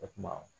O tuma